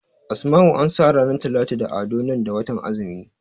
Asma'u ansa ranar Talatu da Ado nan da watan azumi